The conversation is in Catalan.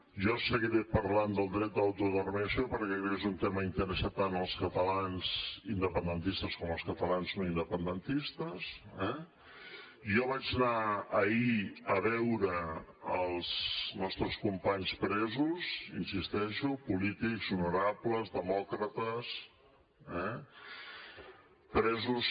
jo seguiré parlant del dret d’autodeterminació perquè crec que és un tema que interessa tant els catalans independentistes com els catalans no independentistes eh jo vaig anar ahir a veure els nostres companys presos hi insisteixo polítics honorables demòcrates eh presos